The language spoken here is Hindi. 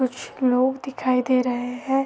कुछ लोग दिखाई दे रहे हैं।